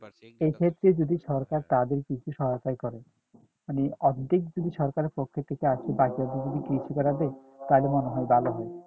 এক্ষেত্রে যদি সরকার তাদের কিছু সহায়তা করে মানে অর্ধেক যদি সরকারের পক্ষ থেকে আরকি বাকি অর্ধেক তাহলে মনে হয় ভালো হয়